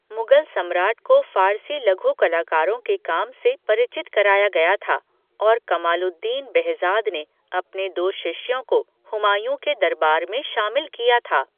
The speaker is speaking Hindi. मुगल सम्राट को फ़ारसी लघु कलाकारों के काम से परिचित कराया गया था, और कमालुद्दीन बेहज़ाद ने अपने दो शिष्यों को हुमायूँ के दरबार में शामिल किया था।